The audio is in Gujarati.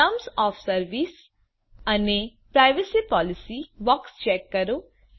ટર્મ્સ ઓએફ સર્વિસ અને પ્રાઇવસી પોલિસી બૉક્સ ચેક કરો